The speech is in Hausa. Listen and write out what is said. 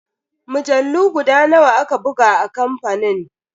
Mujallu guda nawa aka buga a kamfanin?